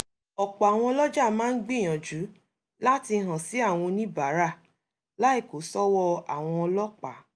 ọ̀pọ̀ àwọn ọlọ́jà máa ń gbìyànjú láti hàn sí àwọn oníbàárà láì kó sọ́wọ́ àwọn ọlọ́pàá